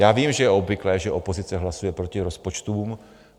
Já vím, že je obvyklé, že opozice hlasuje proti rozpočtům.